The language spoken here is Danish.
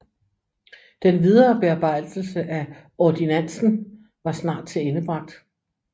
Den videre bearbejdelse af Ordinantsen var snart tilendebragt